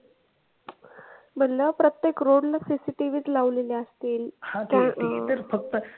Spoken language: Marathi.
म्हनलं प्रत्येक road ला cctv च लावलेले आसतील